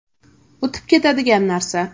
O‘tib ketadigan narsa.